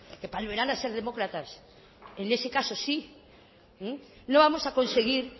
que a ser demócratas en ese caso sí no vamos a conseguir